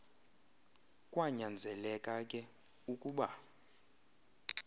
kwanyanzeleka ke ukuba